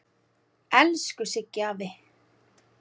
Elsku Siggi afi.